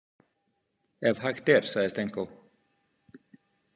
Ef hægt er, sagði Stenkó.